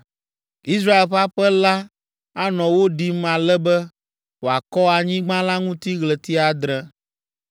“ ‘Israel ƒe aƒe la anɔ wo ɖim ale be wòakɔ anyigba la ŋuti ɣleti adre.